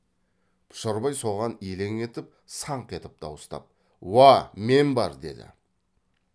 пұшарбай соған елең етіп саңқ етіп дауыстап уа мен бар деді